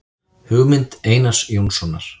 Hugmynd Einars Jónssonar.